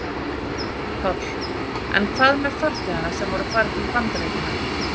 Páll: En hvað með farþega sem voru að fara til Bandaríkjanna?